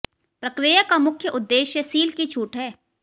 प्रक्रिया का मुख्य उद्देश्य सील की छूट है